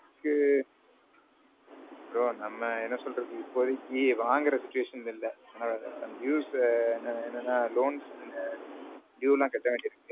bro. நான். bro நம்ம என்ன சொல்றது இப்போ தேக்கி வாங்குற situation இல்ல dues என்னனா loans ஆ.